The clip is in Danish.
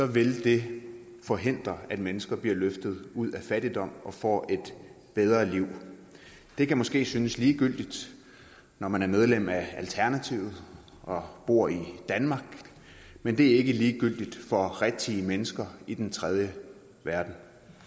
vil det forhindre at mennesker bliver løftet ud af fattigdom og får et bedre liv det kan måske synes ligegyldigt når man er medlem af alternativet og bor i danmark men det er ikke ligegyldigt for rigtige mennesker i den tredje verden